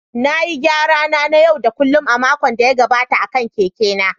Na yi gyara na na yau da kullun a makon da ya gabata akan keke na